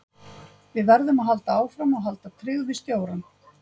Við verðum að halda áfram og halda tryggð við stjórann.